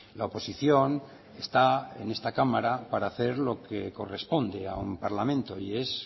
la oposición está en esta cámara para hacer lo que corresponde a un parlamento y es